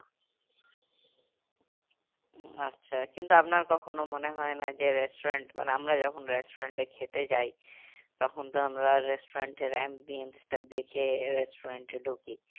উম আচ্ছা কিন্তু আপনার কখনো মনে হয় না যে restaurant মানে আমরা যখন restaurant এ খেতে যাই তখন তো আমরা restaurant এর দেখে restaurant এ ঢুকি